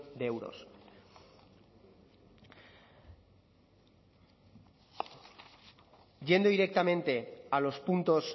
de euros yendo directamente a los puntos